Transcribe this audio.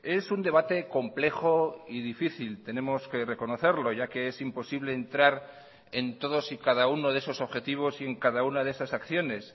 es un debate complejo y difícil tenemos que reconocerlo ya que es imposible entrar en todos y cada uno de esos objetivos y en cada una de esas acciones